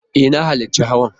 E, na halarci hawan.